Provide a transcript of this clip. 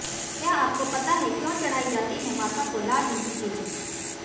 क्या आपको पता है क्यों चढ़ाई जाती है माता को लाल रंग की चीजें